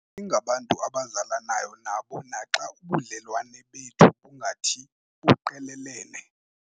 Singabantu abazalanayo nabo naxa ubudlelwane bethu bungathi buqelelene.